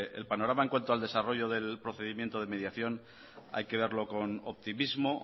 el panorama en cuanto al desarrollo del procedimiento de mediación hay que verlo con optimismo